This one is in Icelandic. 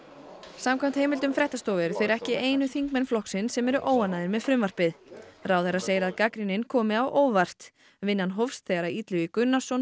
samkvæmt heimildum fréttastofu eru þeir ekki einu þingmenn flokksins sem eru óánægðir með frumvarpið ráðherra segir að gagnrýnin komi á óvart vinnan hófst þegar Illugi Gunnarsson